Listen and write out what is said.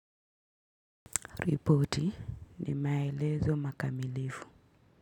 Ripoti ni maelezo makamilifu.